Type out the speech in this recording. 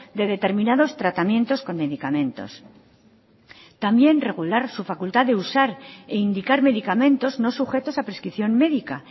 de determinados tratamientos con medicamentos también regular su facultad de usar e indicar medicamentos no sujetos a prescripción médica